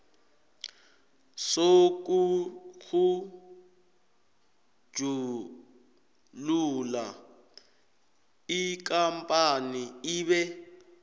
sokutjhugulula ikampani ibe